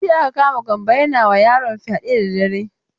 Jiya aka kama Gambo yana wa yaron fyade da dare.